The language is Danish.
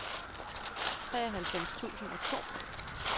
treoghalvfems tusind og to